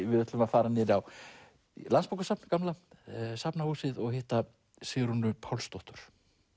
við ætlum að fara niður á Landsbókasafn gamla Safnahúsið og hitta Sigrúnu Pálsdóttur